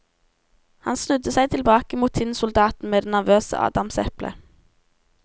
Han snudde seg tilbake mot tinnsoldaten med det nervøse adamseplet.